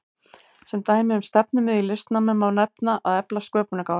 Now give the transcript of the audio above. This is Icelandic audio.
Sem dæmi um stefnumið í listnámi má nefna að efla sköpunargáfu.